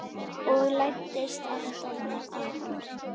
Og læddist aftan að honum.